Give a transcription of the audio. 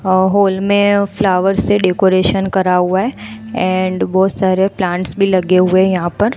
अ hall में flowers से decoration करा हुआ है एंड बहुत सारे प्लांट्स भी लगे हुए हैं यहां पर।